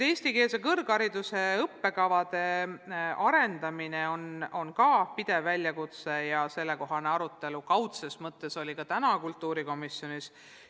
Eestikeelse kõrghariduse õppekavade arendamine on ka pidev väljakutse ja sellekohane arutelu kaudses mõttes oli täna ka kultuurikomisjonis.